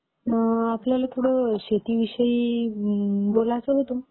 आपल्याला थोडं शेतीविषयी बोलायचं होतं.